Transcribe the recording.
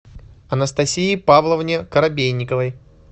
анастасии павловне коробейниковой